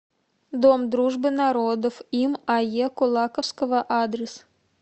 дом дружбы народов им ае кулаковского адрес